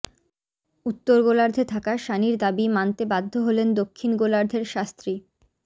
উত্তর গোলার্ধে থাকা সানির দাবি মানতে বাধ্য হলেন দক্ষিণ গোলার্ধের শাস্ত্রী